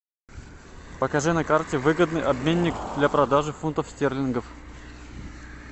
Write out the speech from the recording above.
покажи на карте выгодный обменник для продажи фунтов стерлингов